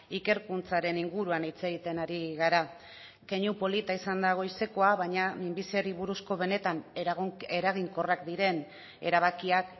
ikerkuntzaren inguruan hitz egiten ari gara keinu polita izan da goizekoa baina minbiziari buruzko benetan eraginkorrak diren erabakiak